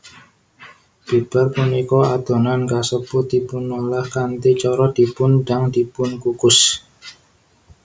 Bibar punika adonan kasebut dipunolah kanthi cara dipun dang dipunkukus